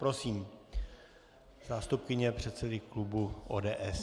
Prosím, zástupkyně předsedy klubu ODS.